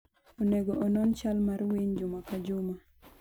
Onego onon chal mar winy juma ka juma.